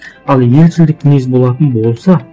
ал елшілдік мінез болатын болса